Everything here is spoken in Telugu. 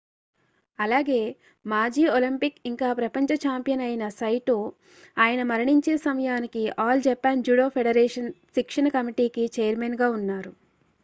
అలాగే మాజీ ఒలింపిక్ ఇంకా ప్రపంచ ఛాంపియన్ అయిన saito ఆయన మరణించే సమయానికి all japan judo federation శిక్షణ కమిటీకి ఛైర్మన్గా ఉన్నారు